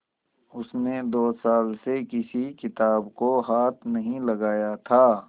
उसने दो साल से किसी किताब को हाथ नहीं लगाया था